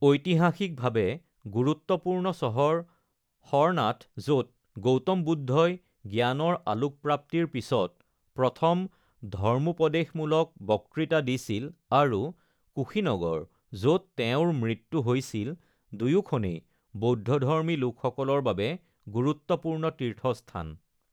ঐতিহাসিকভাৱে গুৰুত্বপূৰ্ণ চহৰ সৰনাথ য’ত গৌতম বুদ্ধই জ্ঞানৰ আলোকপ্ৰাপ্তিৰ পিছত প্ৰথম ধৰ্মোপদেশমূলক বক্তৃতা দিছিল আৰু কুশীনগৰ য'ত তেওঁৰ মৃত্যু হৈছিল, দুয়োখনেই বৌদ্ধধৰ্মী লোকসকলৰ বাবে গুৰুত্বপূৰ্ণ তীৰ্থস্থান।